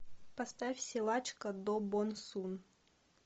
поставь силачка до бон сун